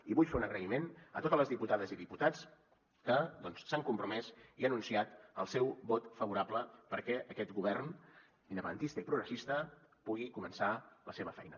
i vull fer un agraïment a totes les diputades i diputats que doncs s’han compromès i han anunciat el seu vot favorable perquè aquest govern independentista i progressista pugui començar la seva feina